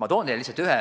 Ma toon teile ühe